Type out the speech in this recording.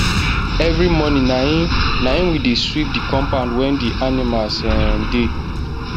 every moring na im na im we dey sweep the compoud wen the animals um dey